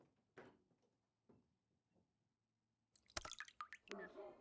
Eru bankarnir á leiðinni úr landi með höfuðstöðvar sínar?